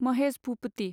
Mahesh Bhupathi